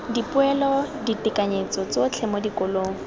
dipoelo ditekanyetso tsotlhe mo dikolong